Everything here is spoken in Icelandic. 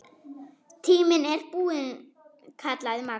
Tíminn er búinn kallaði Magga.